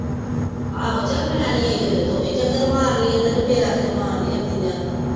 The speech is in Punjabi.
ਆਹੋ ਚਾਲ ਮੈਂ ਨੀ ਈ ਫੇਰ ਤੂੰ ਹੀ ਚੱਕਰ ਮਾਰ ਲਾਇ ਐਡਰ ਨੂੰ ਫੇਰ ਕੀਤੇ ਮਾਰ ਲਾਇ ਕੀਤੇ ਐਂਡੀ ਜਾਂਦੀ